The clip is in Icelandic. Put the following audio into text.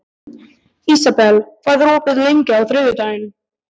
Ísabel, hvað er opið lengi á þriðjudaginn?